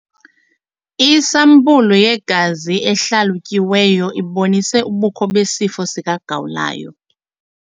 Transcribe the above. Isampulu yegazi ehlalutyiweyo ibonise ubukho besifo sikagawulayo.